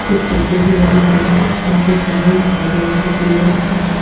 कुछ पर्दे भी लगे हुए हैं यहां पर चैनल दिखाई दे रहा है जो पीले रंग का है।